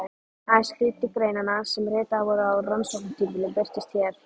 Aðeins hluti greinanna sem ritaðar voru á rannsóknartímabilinu birtast hér.